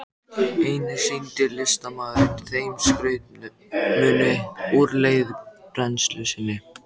Einnig sýndi listamaðurinn þeim skrautmuni úr leirbrennslu sinni.